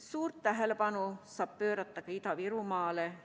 Suurt tähelepanu saab pöörata ka Ida-Virumaale.